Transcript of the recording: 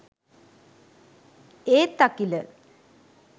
ඒත් අකිල